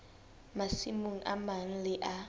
masimong a mang le a